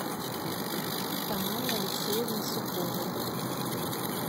тамары алексеевны суховой